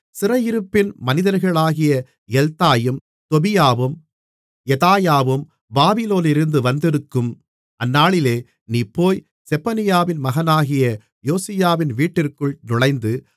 சிறையிருப்பின் மனிதர்களாகிய எல்தாயும் தொபியாவும் யெதாயாவும் பாபிலோனிலிருந்து வந்திருக்கும் அந்நாளிலே நீ போய் செப்பனியாவின் மகனாகிய யோசியாவின் வீட்டிற்குள் நுழைந்து